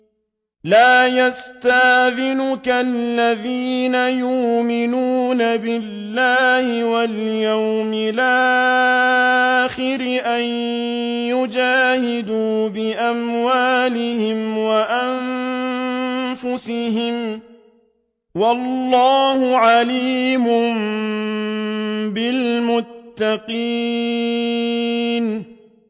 لَا يَسْتَأْذِنُكَ الَّذِينَ يُؤْمِنُونَ بِاللَّهِ وَالْيَوْمِ الْآخِرِ أَن يُجَاهِدُوا بِأَمْوَالِهِمْ وَأَنفُسِهِمْ ۗ وَاللَّهُ عَلِيمٌ بِالْمُتَّقِينَ